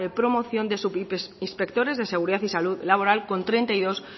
promoción de subinspectores de seguridad y salud laboral con treinta y dos